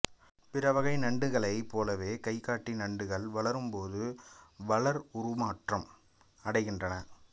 பிற வகை நண்டுகளைப் போலவே கைகாட்டி நண்டுகள் வளரும்போது வளர் உருமாற்றம் அடைகின்றன